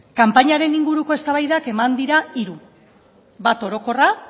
kanpainaren inguruko eztabaidak eman dira hiru bat orokorra